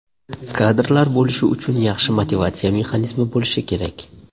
Kadrlar bo‘lishi uchun yaxshi motivatsiya mexanizmi bo‘lishi kerak.